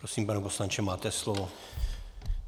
Prosím, pane poslanče, máte slovo.